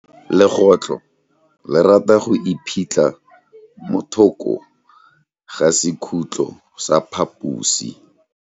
Legôtlô le rata go iphitlha mo thokô ga sekhutlo sa phaposi.